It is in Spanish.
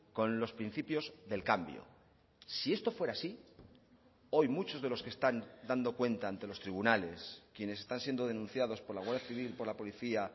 con los principios del cambio si esto fuera así hoy muchos de los que están dando cuenta ante los tribunales quienes están siendo denunciados por la guardia civil por la policía